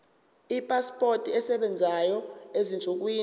ipasipoti esebenzayo ezinsukwini